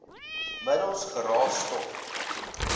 middels geraas stof